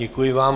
Děkuji vám.